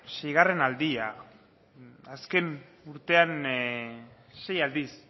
seigarren aldia azken urtean sei aldiz